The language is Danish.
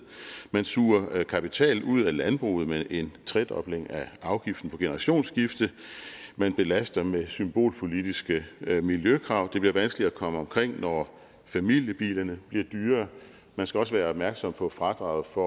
man suger kapital ud af landbruget med en tredobling af afgiften på generationsskiftet man belaster med symbolpolitiske miljøkrav det bliver vanskeligere at komme omkring når familiebilerne bliver dyrere man skal også være opmærksom på fradraget for